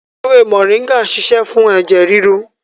Ewé moringa ń ṣiṣẹ́ fún ẹ̀jẹ̀ ríru